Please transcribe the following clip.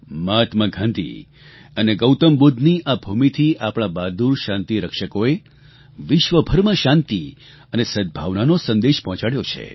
મહાત્મા ગાંધી અને ગૌતમ બુદ્ધની આ ભૂમિથી આપણાં બહાદૂર શાંતિ રક્ષકોએ વિશ્વભરમાં શાંતિ અને સદ્ભાવનો સંદેશ પહોંચાડ્યો છે